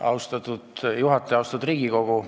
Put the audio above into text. Austatud Riigikogu!